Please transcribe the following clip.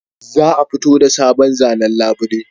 Za a fito da sabon zanen labule